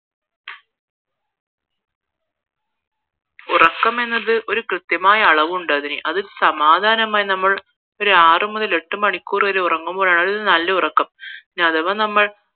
ഉറക്കാമെന്നത് ഒരു കൃത്യമായ അളവുണ്ടതിന് അത് സമാധാനമായി നമ്മൾ ഒരാറ് മുതൽ എട്ട് മണിക്കൂർ വരെ ഉറങ്ങുമ്പോഴാണ് അത് നല്ല ഉറക്കം ഇനി അഥവാ നമ്മൾ